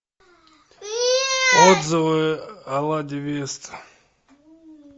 отзывы о ладе веста